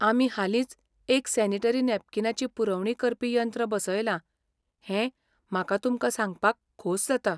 आमी हालींच एक सॅनीटरी नॅपकीनाची पुरवणी करपी यंत्र बसयलां हें म्हाका तुमकां सांगपाक खोस जाता .